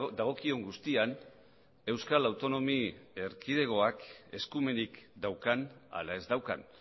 dagokion guztian euskal autonomi erkidegoak eskumenik daukan ala ez daukan